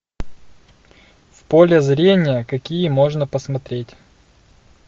в поле зрения какие можно посмотреть